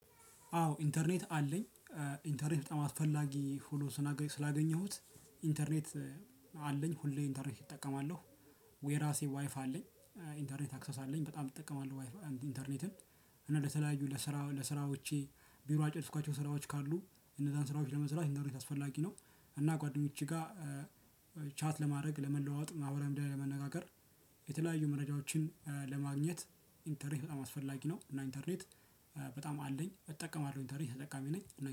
አዎ ኢንተርኔት አለኝ ኢንተርኔት በጣም አስፈላጊ ሁኖ ስናገ ስላገኘሁት ኢንተርኔት አለኝ ሁሌ ኢንተርኔት እጠቀማለሁ። ወ የራሴ ዋይፋ አለኝ። ኢንተርኔት አክሰስ አለኝ በጣም እጠቀማለሁ ዋይፋ ኢንተርኔትን እና ለተለያዩ ለስራ ለስራዎቼ ቢሮ ያልጨርስኳቸው ስራዎች ካሉ እነዛን ስራዎች ለመስራት ኢንተርኔት አስፈላጊ ነው። እና ጓደኞቼ ጋር ቻት ለማድረግ ለመለዋወጥ አብረን ለመነጋገር። የተለያዩ መረጃዎችን ለማግኘት ኢንተርኔት በጣም አስፈላጊ ነው። እና ኢንተርኔት በጣም አለኝ እጠቀማለሁ ኢንተርኔት ተጠቃሚ ነኝ ነኝ